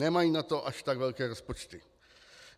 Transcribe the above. Nemají na to až tak velké rozpočty.